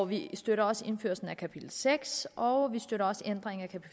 vi støtter også indførelsen af kapitel seks og vi støtter også ændringen af